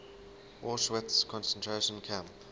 auschwitz concentration camp